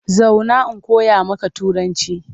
Zauna in koya maka Turanci!